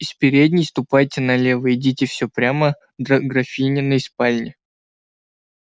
из передней ступайте налево идите все прямо до графининой спальни